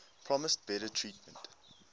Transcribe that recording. promised better treatment